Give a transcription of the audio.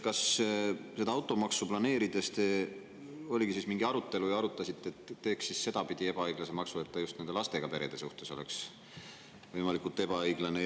Kas seda automaksu planeerides te arutasite, et teeks õige sedapidi ebaõiglase maksu, et see just lastega perede suhtes võimalikult ebaõiglane oleks?